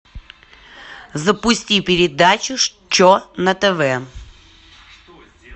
запусти передачу че на тв